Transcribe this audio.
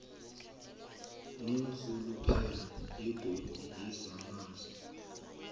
neenrhuluphelo zebhodi yezamanzi